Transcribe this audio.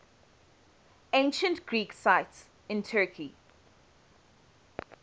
ancient greek sites in turkey